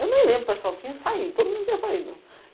Eu nem lembro, o pessoal tinha saído, todo mundo tinha saído.